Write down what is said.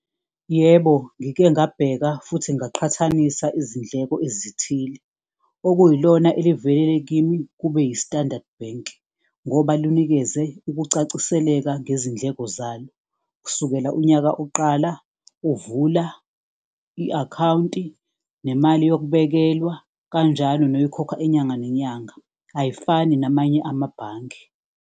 Yebo, ngike ngabheka futhi ngaqhathanisa izindleko ezithile, okuyilona elivelele kimi kube yi-Standard Bank ngoba lunikeze ukucaciseleka ngezindleko zalo, kusukela unyaka uqala, uvula i-akhawunti nemali yokubekelwa kanjalo noyikhokha inyanga nenyanga, ayifani namanye amabhange.